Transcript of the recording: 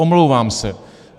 Omlouvám se.